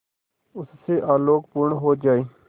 उससे आलोकपूर्ण हो जाए